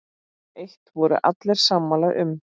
Eitt voru allir sammála um.